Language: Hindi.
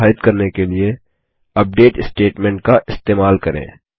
300 तक निर्धारित करने के लिए अपडेट स्टेटमेंट का इस्तेमाल करें